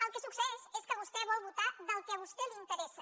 el que succeeix és que vostè vol votar del que a vostè li interessa